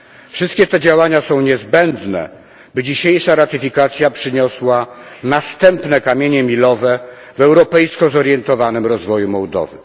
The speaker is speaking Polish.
Wszystkie te działania są niezbędne, by dzisiejsza ratyfikacja przyniosła następne kamienie milowe w europejsko zorientowanym rozwoju Mołdowy.